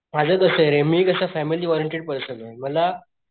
माझं कसय रे मी कस फॅमिली ओरिएंटेड पर्सने मला,